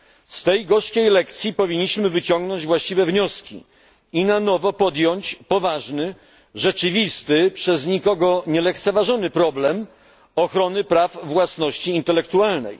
Z tej gorzkiej lekcji powinniśmy wyciągnąć właściwe wnioski i na nowo podjąć poważny, rzeczywisty, przez nikogo nie lekceważony problem ochrony praw własności intelektualnej.